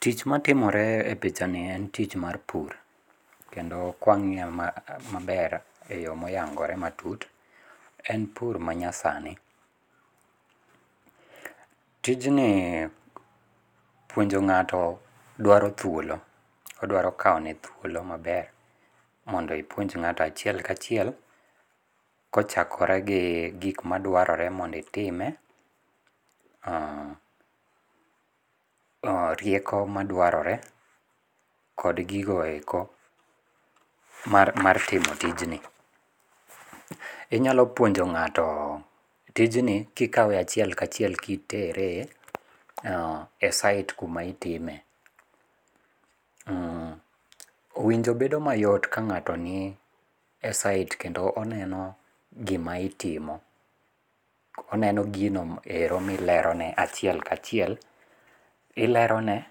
Tich matimore e pichanie en tich mar pur, kendo kwang'iye maber e yo moyangore matut en pur manyasani, tijnie puonjo ng'ato dwaro thuolo, oduaro kawone thuolo maber mondo ipuonj ng'ato achiel ka chiel kochakore gi gik maduarore mondo itime, rieko maduarore, kod gigo eko mar timo tijni, inyalo puonjo ng'ato tijni kikawe achiel kachiel kitere e site kuma itime. Winjo bedo mayot ka ng'ato nie site kendo oneno gima itimo, oneno gino ero milerone achiel kachiel, ilerone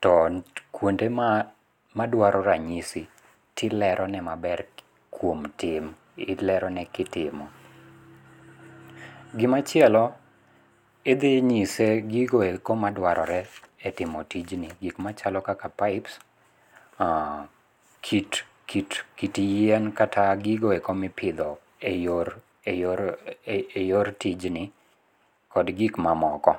to kuonde ma dwaro ranyisi tilerone maber kuom tim ilerone kitimo. Gimachielo idhinyise gigo eko maduarore e timo tijni gik machalo kaka pipes, kit kit kit yien kata gigo eko mipitho e yor e yor eyor tijni kod gik mamoko.